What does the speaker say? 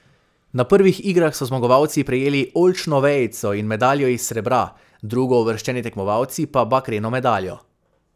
Na prvih igrah so zmagovalci prejeli oljčno vejico in medaljo iz srebra, drugouvrščeni tekmovalci pa bakreno medaljo.